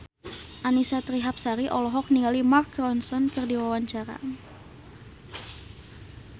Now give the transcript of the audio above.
Annisa Trihapsari olohok ningali Mark Ronson keur diwawancara